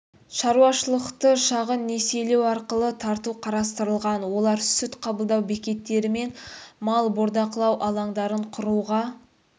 шаруашылықты шағын несиелеу арқылы тарту қарастырылған олар сүт қабылдау бекеттері мен мал бордақылау алаңдарын құруға